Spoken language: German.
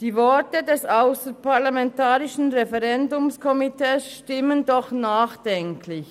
» Die Worte des ausserparlamentarischen Referendumskomitees stimmen doch nachdenklich.